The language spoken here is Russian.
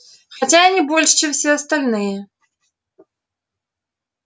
хотя и не больше чем все остальное